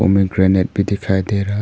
pomegranate भी दिखाई दे रहा--